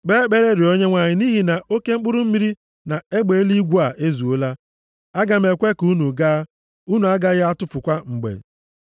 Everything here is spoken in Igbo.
Kpee ekpere rịọọ Onyenwe anyị nʼihi na oke mkpụrụ mmiri na egbe eluigwe a ezuola. Aga m ekwe ka unu gaa, unu agaghị atụfukwa mgbe.”